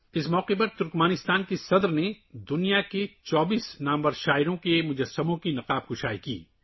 اس موقع پر ترکمانستان کے صدر نے دنیا کے 24 مشہور شاعروں کے مجسموں کی نقاب کشائی کی